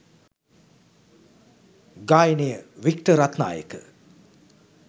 ගායනය වික්ටර් රත්නායක